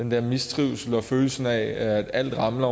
der mistrivsel og følelse af at alt ramler